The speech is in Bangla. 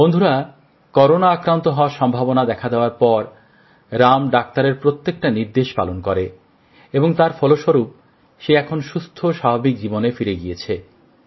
বন্ধুরা করোনা আক্রান্ত হওয়ার সম্ভাবনা দেখা দেওয়ার পর রাম ডাক্তারের প্রত্যেকটা নির্দেশ পালন করেন এবং তার ফলস্বরূপ সে এখন সুস্থ স্বাভাবিক জীবনে ফিরে গেছে